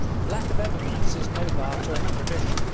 Lack of evidence is no bar to extradition.